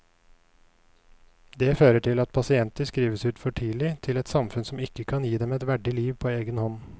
Det fører til at pasienter skrives ut for tidlig til et samfunn som ikke kan gi dem et verdig liv på egen hånd.